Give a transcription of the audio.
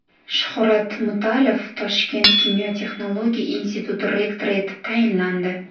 Shuhrat Mutalov Toshkent kimyo-texnologiya instituti rektori etib tayinlandi.